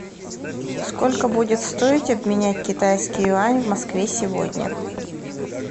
сколько будет стоить обменять китайский юань в москве сегодня